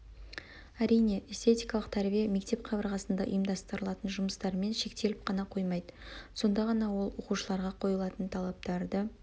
әрине эстетиккалық тәрбие мектеп қабырғасында ұйымдастырылатын жұмыстарымен шектеліп қана қоймайды сонда ғана ол оқушыларға қойылатын талаптарды